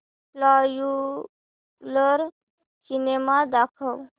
popular cinema दाखव